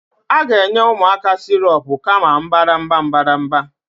A ga-enye ụmụaka sirop kama mbadamba mbadamba